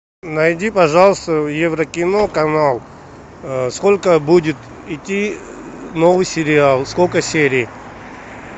найди пожалуйста еврокино канал сколько будет идти новый сериал сколько серий